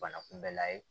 Bana kunbɛlan ye